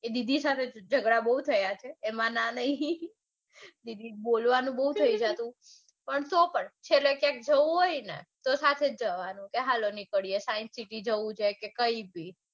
એ દીદી સાથે જગડા બૌ થયા છે. એમાં ના નઈ પણ તોપણ છેલ્લે ક્યાંક જવાનું હોયને તો સાથે જ જવાનું કે હાલો હોય કે કાંઈ બી.